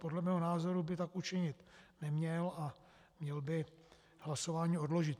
Podle mého názoru by tak učinit neměl a měl by hlasování odložit.